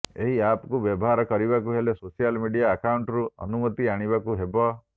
ଏହି ଆପକୁ ବ୍ୟବହାର କରିବାକୁ ହେଲେ ସୋସିଆଲ୍ ମିଡ଼ିଆ ଆକାଉଣ୍ଟରୁ ଅନୁମତି ଆଣିବାକୁ ହେବ